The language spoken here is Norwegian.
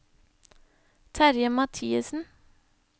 Terje Mathiesen